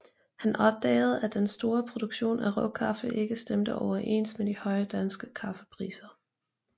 Han opdagede at den store produktion af råkaffe ikke stemte overens med de høje danske kaffepriser